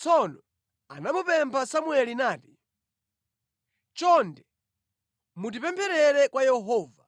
Tsono anamupempha Samueli nati, “Chonde mutipempherere kwa Yehova,